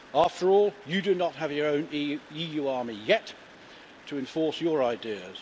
After all, you do not have your own EU army yet to enforce your ideas.